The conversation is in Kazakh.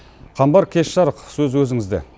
қамбар кеш жарық сөз өзіңізде